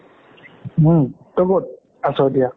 হুম তই কত আছো এতিয়া?